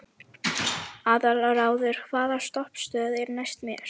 Aðalráður, hvaða stoppistöð er næst mér?